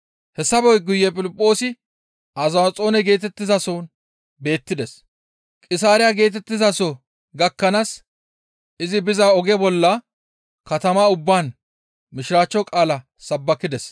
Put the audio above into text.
Hessafe guye Piliphoosi Azaxoone geetettizason beettides; Qisaariya geetettizaso gakkanaas izi biza oge bolla katama ubbaan mishiraachcho qaala sabbakides.